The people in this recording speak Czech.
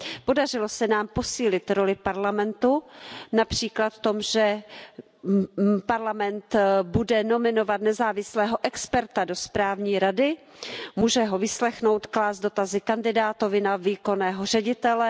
Podařilo se nám posílit roli Evropského parlamentu, například v tom, že Evropský parlament bude nominovat nezávislého experta do správní rady, může ho vyslechnout, klást dotazy kandidátovi na výkonného ředitele.